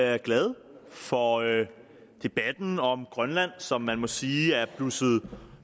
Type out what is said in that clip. er glade for debatten om grønland som man må sige er blusset